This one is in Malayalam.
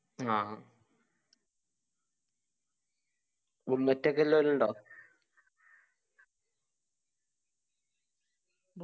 ആ bullet ഒക്കെ എല്ലാരുണ്ടോ